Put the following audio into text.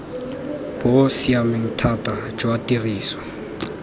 bo siameng thata jwa tiriso